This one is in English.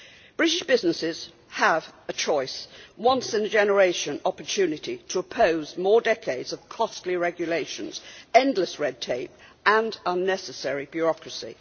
British businesses have a choice, a once in a generation opportunity to oppose more decades of costly regulations, endless red tape and unnecessary bureaucracy.